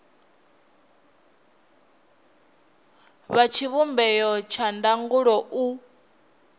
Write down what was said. wa tshivhumbeo tsha ndangulo u